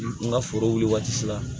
N ka foro wuli waati sera